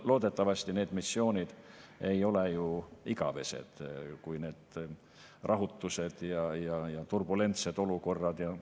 Loodetavasti need missioonid ei ole ju igavesed ja need rahutused ja turbulentsed olukorrad.